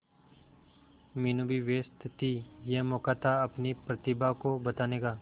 मीनू भी व्यस्त थी यह मौका था अपनी प्रतिभा को बताने का